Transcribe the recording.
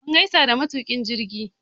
Mun gaisa da matuƙin jirgi